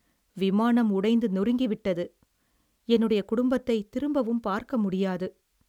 விமானம் உடைந்து நொறுங்கிவிட்டது. என்னுடைய குடும்பத்தை திரும்பவும் பார்க்க முடியாது.